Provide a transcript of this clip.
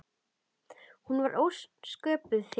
Hún var sköpuð fyrir hann.